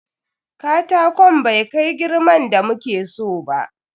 Katakon bai kai girman da muke so ba.